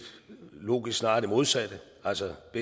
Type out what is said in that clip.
logisk snarere det modsatte altså at